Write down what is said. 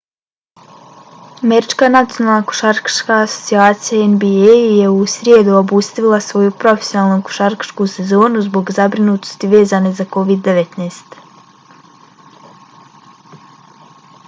američka nacionalna košarkaška asocijacija nba je u srijedu obustavila svoju profesionalnu košarkašku sezonu zbog zabrinutosti vezane za covid-19